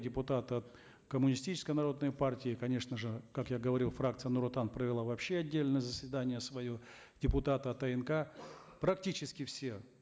депутаты от коммунистической народной партии конечно же как я говорил фракция нур отан провела вообще отдельное заседание свое депутаты от анк практически все